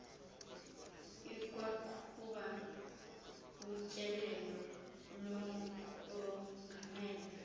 ikwaqhuba utyelelo lokongamela